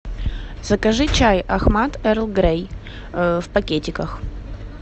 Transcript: закажи чай ахмад эрл грей в пакетиках